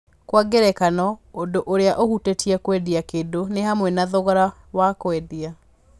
Kwa ngerekano, ũndũ ũrĩa ũhutĩtie kwendia kĩndũ nĩ hamwe na thogora wa kwendia.